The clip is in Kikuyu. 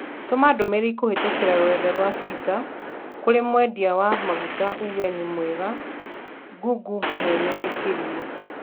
Tũma ndũmĩrĩri kũhĩtũkĩra rũrenda rũa tũita kũri mũendia wa maguta uuge nĩ wega Google mwene nĩ kĩrimũ